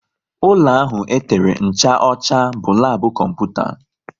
Ụlọ ahụ e tere ncha ọcha bụ labu kọmputa